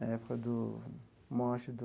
Na época do morte do